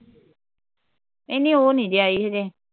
ਇਹ ਨੀ ਉਹ ਨੀ ਜੇ ਆਈ ਅਜੇ